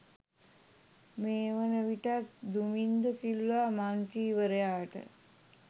මේවන විටත් දුමින්ද සිල්වා මන්ත්‍රීවරයාට